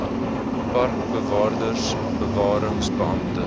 parkbewaarders bewarings beamptes